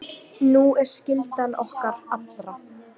Sú er skylda okkar allra.